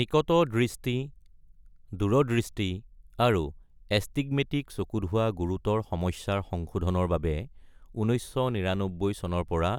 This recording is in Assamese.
নিকট দৃষ্টি, দূৰদৃষ্টি আৰু এষ্টিগ্মেটিক চকুত হোৱা গুৰুতৰ সমস্যাৰ সংশোধনৰ বাবে ১৯৯৯ চনৰ পৰা